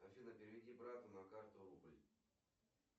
афина переведи брату на карту рубль